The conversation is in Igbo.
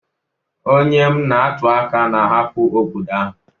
Onye m na-atụ aka na-ahapụ obodo ahụ